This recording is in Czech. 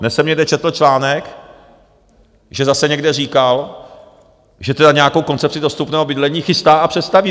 Dnes jsem někde četl článek, že zase někde říkal, že tedy nějakou koncepci dostupného bydlení chystá a představí.